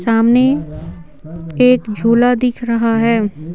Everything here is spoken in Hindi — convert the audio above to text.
सामने एक झूला दिख रहा है।